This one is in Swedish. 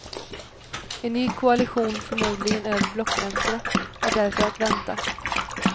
En ny koalition, förmodligen över blockgränserna är därför att vänta.